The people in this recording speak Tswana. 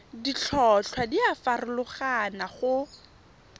ditlhotlhwa di a farologana go